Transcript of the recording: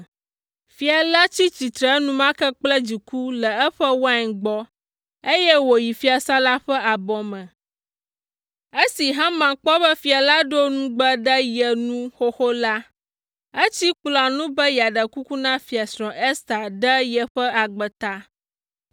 Fia la tsi tsitre enumake kple dziku le eƒe wain gbɔ, eye wòyi fiasã la ƒe abɔ me. Esi Haman kpɔ be fia la ɖo nugbe ɖe ye ŋu xoxo la, etsi kplɔ̃a ŋu be yeaɖe kuku na Fiasrɔ̃ Ester ɖe yeƒe agbe ta.